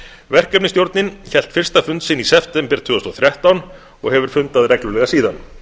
verkefnisstjórnin hélt fyrsta fund sinn í september tvö þúsund og þrettán og hefur fundað reglulega síðan